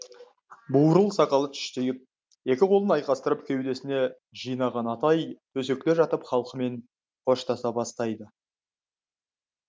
бурыл сақалы түштиіп екі қолын айқастырып кеудесіне жинаған атай төсекте жатып халқымен қоштаса бастайды